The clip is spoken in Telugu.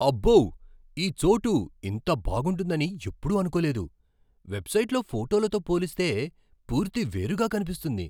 అబ్బో! ఈ చోటు ఇంత బాగుంటుంటుందని ఎప్పుడూ అనుకోలేదు. వెబ్సైట్లో ఫోటోలతో పోలిస్తే, పూర్తి వేరుగా కనిపిస్తుంది.